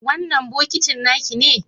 wannan bokitin nakine?